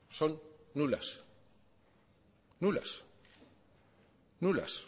del fraude son nulas